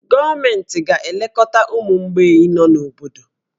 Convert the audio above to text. Gọọmenti ga-elekọta ụmụ mgbei nọ n'obodo